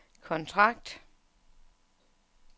kontrakt